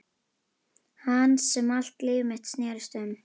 Hans sem allt líf mitt snerist um.